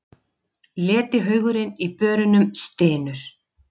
Letihaugurinn í börunum stynur.